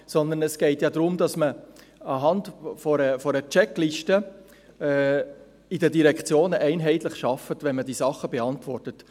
Sondern es geht ja darum, dass man anhand einer Checkliste in den Direktionen einheitlich arbeitet, wenn man diese Sachen beantwortet.